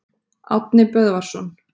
Árni Böðvarsson.